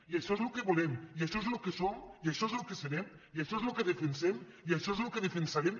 i això és el que volem i això és el que som i això és el que serem i això és el que defensem i això és el que defensarem